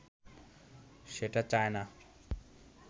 সেটা চায়না